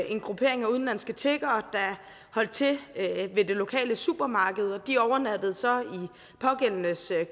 en gruppering af udenlandske tiggere der holdt til ved det lokale supermarked og de overnattede så i pågældendes